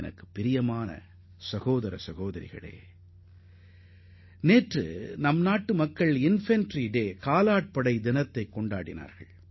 எனதருமை சகோதர சகோதரிகளே நாம் அனைவரும் நேற்று காலாட்படை தினத்தை கொண்டாடினோம்